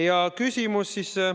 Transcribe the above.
Ja nüüd küsimus ...